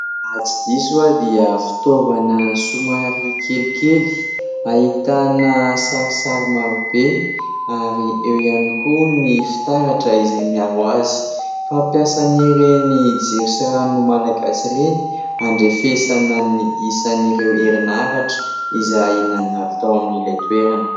Raha tsy diso aho dia fitaovana somary kelikely. Ahitana sarisary marobe ary eo ihany koa ny fitaratra izay miaro azy. Fampiasan'ireny jiro sy rano malagasy ireny. Handrefesana ny isan'ireo herinaratra izay nandalo tao amin'ilay toerana.